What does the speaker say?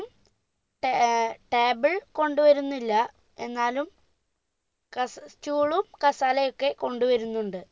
table കൊണ്ടുവരുന്നില്ല എന്നാലും കസ stool ളും കസാലയൊക്കെ കൊണ്ടുവരുന്നുണ്ട്